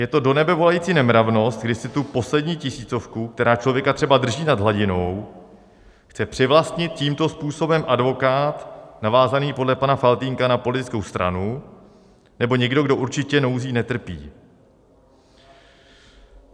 Je to do nebe volající nemravnost, když si tu poslední tisícovku, která člověka třeba drží nad hladinou, chce přivlastnit tímto způsobem advokát navázaný podle pana Faltýnka na politickou stranu nebo někdo, kdo určitě nouzí netrpí.